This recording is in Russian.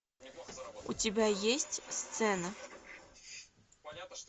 у тебя есть сцена